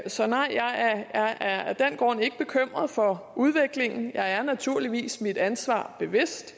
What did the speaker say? så nej jeg er af af den grund ikke bekymret for udviklingen jeg er mig naturligvis mit ansvar bevidst